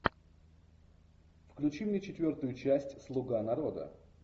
включи мне четвертую часть слуга народа